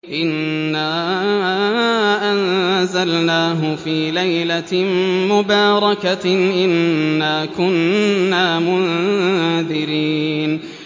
إِنَّا أَنزَلْنَاهُ فِي لَيْلَةٍ مُّبَارَكَةٍ ۚ إِنَّا كُنَّا مُنذِرِينَ